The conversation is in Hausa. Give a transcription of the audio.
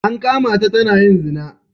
An kama ta tana yin zina.